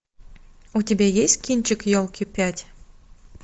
у тебя есть кинчик елки пять